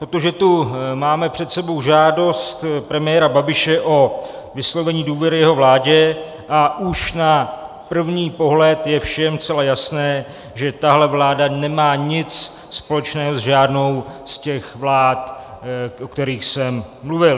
Protože tu máme před sebou žádost premiéra Babiše o vyslovení důvěry jeho vládě a už na první pohled je všem zcela jasné, že tahle vláda nemá nic společného s žádnou z těch vlád, o kterých jsem mluvil.